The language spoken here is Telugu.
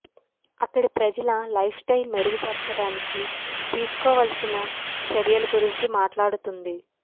అక్కడి ప్రజల లైఫ్ స్టయిల్ మెరుగుపరచడానికి తీసుకోవలసిన చర్యల గురించి మాట్లాడుతుంది